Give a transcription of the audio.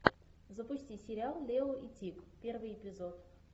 запусти сериал лео и тиг первый эпизод